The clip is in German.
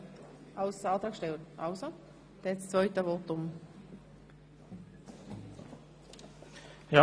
– Er wünscht das Wort für sein zweites Votum jetzt.